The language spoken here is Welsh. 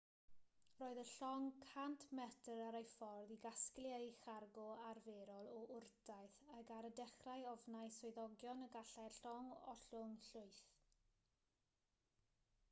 roedd y llong 100 metr ar ei ffordd i gasglu ei chargo arferol o wrtaith ac ar y dechrau ofnai swyddogion y gallai'r llong ollwng llwyth